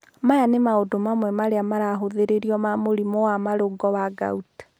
Aya nĩ maũndu amwe arĩa marathuthurio ma mũrimũ wa marũngo wa gout.